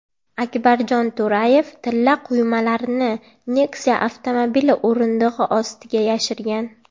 Akbarjon To‘rayev tilla quymalarni Nexia avtomobili o‘rindig‘i ostiga yashirgan.